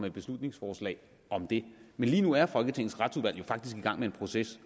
et beslutningsforslag om det men lige nu er folketingets retsudvalg jo faktisk i gang med en proces